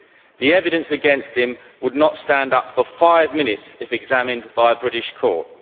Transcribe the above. The evidence against him would not stand up for five minutes if examined by a British court.